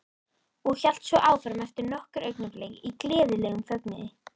Og hélt svo áfram eftir nokkur augnablik í gleðilegum fögnuði